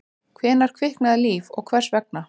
Hvenær kviknaði líf og hvers vegna?